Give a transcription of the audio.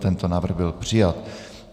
Tento návrh byl přijat.